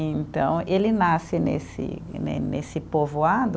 Então, ele nasce nesse né nesse povoado,